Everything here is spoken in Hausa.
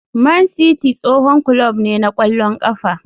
Man City tsohon kulob ne na ƙwallon ƙafa.